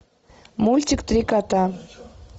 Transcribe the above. мультик три кота